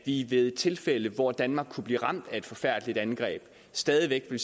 i det tilfælde hvor danmark kunne blive ramt af et forfærdeligt angreb stadig væk vil